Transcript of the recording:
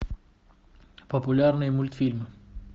популярные мультфильмы